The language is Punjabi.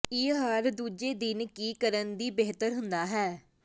ਇਹ ਹਰ ਦੂਜੇ ਦਿਨ ਕੀ ਕਰਨ ਦੀ ਬਿਹਤਰ ਹੁੰਦਾ ਹੈ